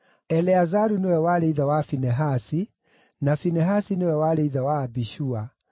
Eleazaru nĩwe warĩ ithe wa Finehasi, na Finehasi nĩwe warĩ ithe wa Abishua,